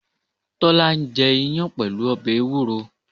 Tólá ń jẹ iyán pẹ̀lú ọbè ewúro